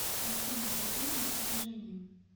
афина движение с уважением